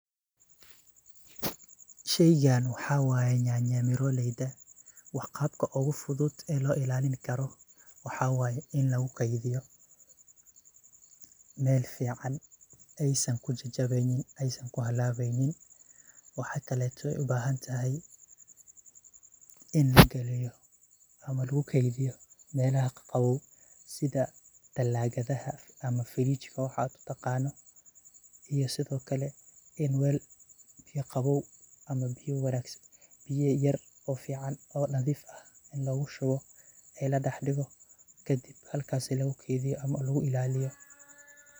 Sheygan waxaa waaye nyanya mirooleyda. Qaabka ugu fudud oo loo ilaalin karo, waxaa waaye in lagu keydiyo meel fiican aysan ku jijabeynin, aysan ku halaaweynin. Waxa kaleeto ubaahantahay in la giliyo ama lagu keydiyo meelaha qabow, sida delaagadaha ama frijka, waxaad u taqaano. Iyo sidhookale, In weel biyo qabow ama biyo wanaagsan, biyo yer oo fiican oo nadiif ah in lagushubo, ee la dhigo kadib halkaas lagu keydiyo ama lagu ilaaliyo.